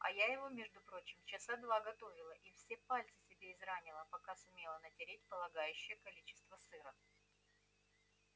а я его между прочим часа два готовила и все пальцы себе изранила пока сумела натереть полагающее количество сыра